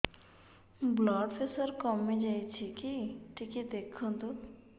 blood pressure କମି ଯାଉଛି କି ଟିକେ ଦେଖନ୍ତୁ